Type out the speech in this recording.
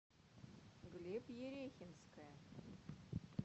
глеб ерехинская